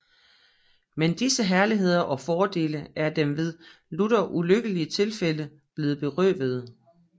Men disse Herligheder og Fordele ere dem ved lutter ulykkelige Tilfælde blevne berøvede